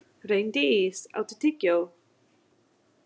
Reyndís, áttu tyggjó?